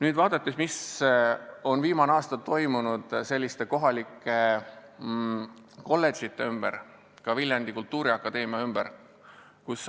Aga vaatame, mis on viimasel aastal kohalike kolledžite, ka Viljandi Kultuuriakadeemia ümber toimunud!